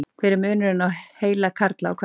Hver er munurinn á heila karla og kvenna?